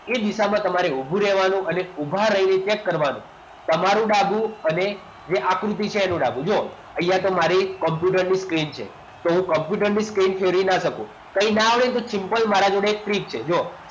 એ દિશામાં તમારે ઉભું રહેવાનું અને ઊભા રહીને check કરવાનું તમારું ડાબુ અને આકૃતિ છે એનું ડાબુ હજુ અહીંયા તમારે કોમ્પ્યુટર ની સ્ક્રીન છે તો હું કોમ્પ્યુટરની સ્ક્રીન છોડી ના શકું કઈ ના આવડે ને તો simple મારા જોડે ટ્રિક છે